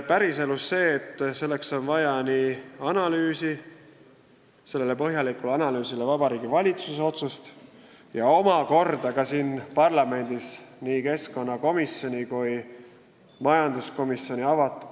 Päriselus on vaja analüüsi, sellele põhjalikule analüüsile järgneb Vabariigi Valitsuse otsus ja avatud debatt siin parlamendis nii keskkonnakomisjonis kui majanduskomisjonis.